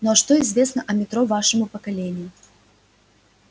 ну а что известно о метро вашему поколению